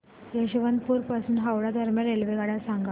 यशवंतपुर पासून हावडा दरम्यान रेल्वेगाड्या सांगा